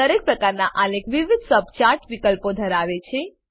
દરેક પ્રકારનાં આલેખ વિવિધ સબચાર્ટ વિકલ્પો ધરાવે છે